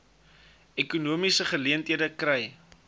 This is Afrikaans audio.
ekonomiese geleenthede kry